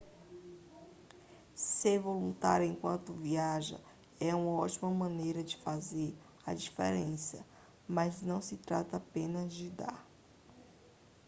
ser voluntário enquanto viaja é uma ótima maneira de fazer a diferença mas não se trata apenas de dar